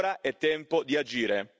Ora è tempo di agire.